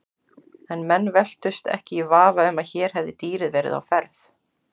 En menn velktust ekki í vafa um að hér hefði dýrið verið á ferð.